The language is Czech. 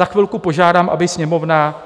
Za chvilku požádám, aby Sněmovna